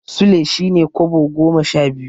Sule shine Kobo goma sha biyu.